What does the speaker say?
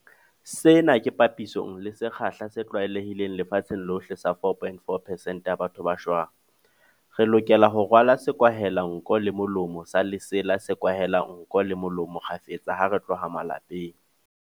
Sena ke papisong le sekgahla se tlwaelehileng lefatsheng lohle sa 4.4 percent ya batho ba shwang. Re lokela ho rwala sekwahelanko le molomo sa lesela se kwahelang nko le molomo kgafetsa ha re tloha malapeng.